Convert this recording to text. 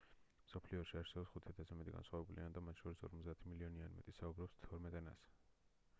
მსოფლიოში არსებობს 5,000-ზე მეტი განსხვავებული ენა და მათ შორის 50 მილიონი ან მეტი ადამიანი საუბრობს თორმეტ ენაზე